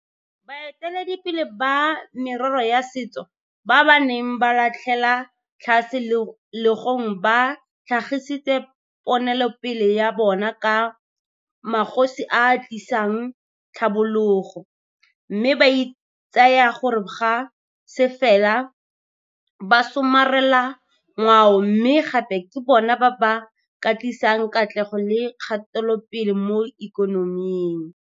Baeteledipele ba merero ya setso ba ba neng ba latlhela tlhase legong ba tlhagisitse ponelopele ya bona ka 'magosi a a tlisang tlhabologo' mme ba itsaya gore ga se fela basomarelangwao mme gape ke bona ba ba ka tlisang katlego le kgatelopele mo ikonoming.